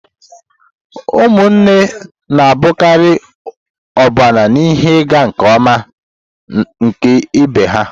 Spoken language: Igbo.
Ụmụnne na-abụkarị ọbụna ihe ịga nke ọma nke ibe ha.